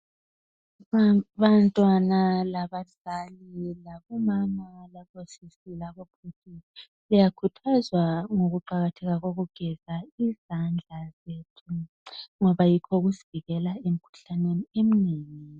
Abantwana labazali labomama labosisi labobhudi liyakhuthazwa ngokuqakatheka kokugeza izandla zethu ngoba yikho okusivikela emikhuhlaneni eminengi.